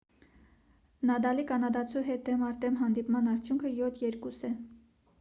նադալի կանադացու հետ դեմ առ դեմ հանդիպման արդյունքը 7 - 2 է